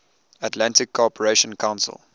atlantic cooperation council